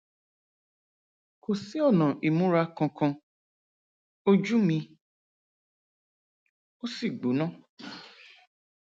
kò sí ọnà ìmúra kankan ojú mi ò sì gbóná